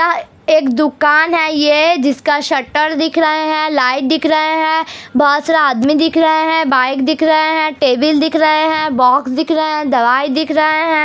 यहाँ एक दुकान है ये जिसका शटर दिख रहे है लाइट दिख रहे है बहुत सारा आदमी दिख रहे है बाइक देख रहे है टेबल देख रहे हैं बॉक्स दिख रहे हैं दवाई दिख रहे है।